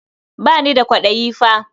Ba ni da kwaɗayi fa.